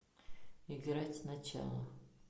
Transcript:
играть сначала